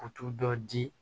U t'u dɔ di